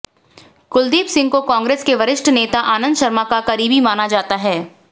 कुलदीप सिंह को कांग्रेस के वरिष्ठ नेता आनंद शर्मा का करीबी माना जाता हैं